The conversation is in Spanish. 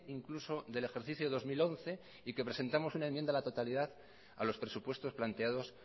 incluso del ejercicio dos mil once y que presentamos una enmienda a la totalidad a los presupuestos planteados